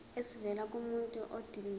esivela kumuntu odilive